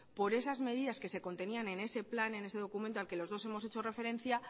por esas medidas que se contenían en ese plan en ese documento al que los dos hemos hecho referencia